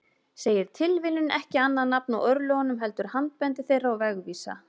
Segir tilviljun ekki annað nafn á örlögunum heldur handbendi þeirra og vegvísa.